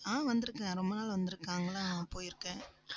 ஆஹ் வந்திருக்கிறேன். ரொம்ப நாள் வந்திருக்காங்களாம் போயிருக்கேன்.